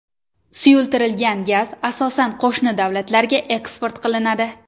Suyultirilgan gaz asosan qo‘shni davlatlarga eksport qilinadi.